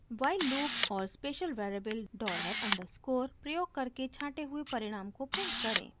while loop और special variable $_ dollar underscore प्रयोग करके छाँटे हुए परिणाम को प्रिंट करें